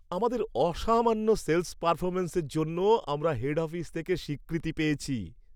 আমাদের অসামান্য সেল্‌স পারফরম্যান্সের জন্য আমরা হেড অফিস থেকে স্বীকৃতি পেয়েছি।